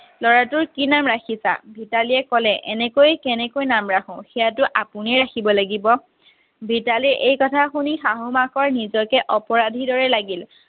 ল'ৰা টোৰ কি নাম ৰাখিছা ভিতালীয়ে ক'লে এনেকৈ কেনেকৈ নাম ৰাখো সেইয়াতো আপুনিয়ে ৰাখিব লাগিব ভিতালীৰ সেই কথা শুনি শাহ মাকৰ নিজকে অপৰাধিৰ দৰে লাগিল